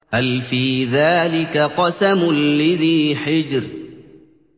هَلْ فِي ذَٰلِكَ قَسَمٌ لِّذِي حِجْرٍ